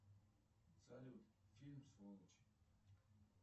салют фильм сволочи